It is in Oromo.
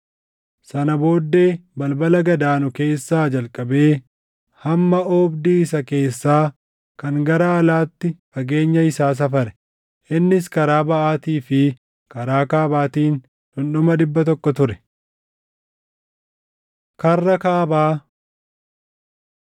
Sana booddee balbala gad aanu keessaa jalqabee hamma oobdii isa keessaa kan gara alaatti fageenya isaa safare; innis karaa baʼaatii fi karaa kaabaatiin dhundhuma dhibba tokko ture. Karra Kaabaa